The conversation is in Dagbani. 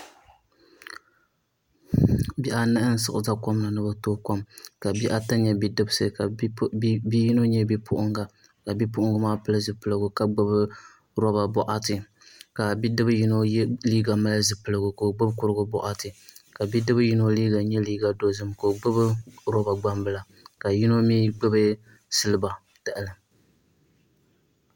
Bihi anahi n siɣi ʒɛ kom ni ni bi tooi kom ka bihi ata nyɛ bidibsi ka bihi yino nyɛ bipuɣunga ka bipuɣungi maa pili zipiligu ka gbubi boɣati ka bidib yino liiga mali zipiligu ka o gbubi kurigu boɣati ka bidib yino liiga nyɛ liiga dozim ka o gbubi kurigu gbambila ka yino mii gbubi silba tahali